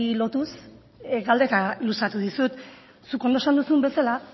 lotuz galdera luzatu dizut zuk ondo esan duzun bezala